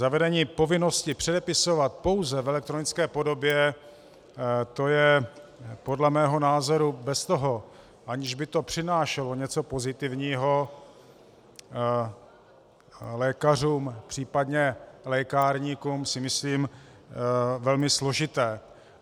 Zavedení povinnosti předepisovat pouze v elektronické podobě, to je podle mého názoru bez toho, aniž by to přinášelo něco pozitivního lékařům, případně lékárníkům, si myslím, velmi složité.